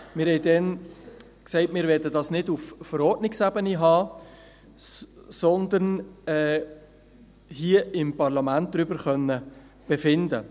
Wir sagten damals, dass wir dies nicht auf Verordnungsebene regeln, sondern hier im Parlament darüber befinden möchten.